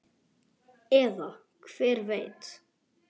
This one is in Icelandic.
Eða hver veit?